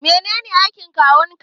Menene aikin kawun ka?